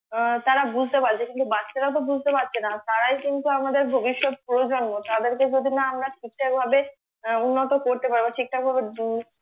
আহ তারা বুঝতে পারছে কিন্তু বাচ্চারা তো বুঝতে পারছে না তারাই কিন্তু আমাদের ভবিষ্যৎ প্রজন্ম তাদের কে যদি না আমরা ঠিকঠাক ভাবে উন্নত করতে পারি বা ঠিকঠাক ভাবে বু